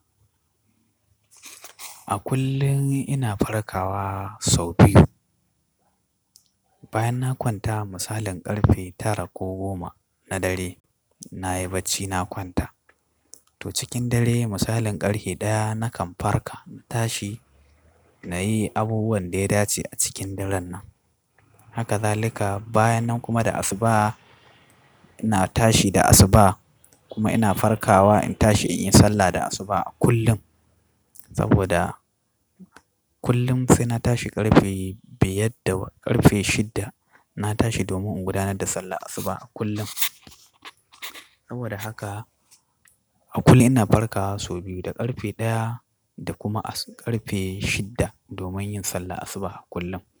A kullum ina farkawa sau biyu. Bayan na kwanta, musalin ƙarfe tara ko goma na dare nayi bacci na kwanta. To, cikin dare, musalin ƙarhe ɗaya nakan farka na tashi na yi abubuwan da ya dace a cikin daren nan. Haka zalika bayan nan kuma da asuba ina tashi da asuba kuma ina farkawa in tashi in yi sallah da asuba a kullum. Saboda kullum sai na tashi karbe biyar da, karfe shidda na tashi domin in gudanar da salar asuba a kullum. Saboda haka a kullum ina farkawa sau biyu, da ƙarfe ɗaya da kuma ƙarfe shidda domin yin sallah asuba kullum.